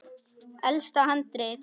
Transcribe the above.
Elsta handrit